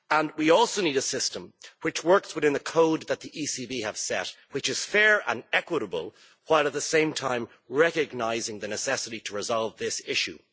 We also need a system which works within a code that the ECB have set, which is fair and equitable while at the same time recognising the necessity to resolve this issue.